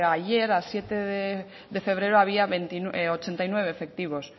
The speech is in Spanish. ayer a siete de febrero había ochenta y nueve efectivos